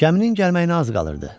Gəminin gəlməyinə az qalırdı.